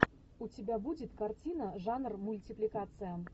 у тебя будет картина жанр мультипликация